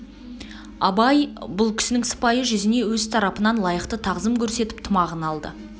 абай бұл кісінің сыпайы жүзіне өз тарапынан лайықты тағзым көрсетіп тымағын алды